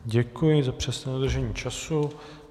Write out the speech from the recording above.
Děkuji za přesné dodržení času.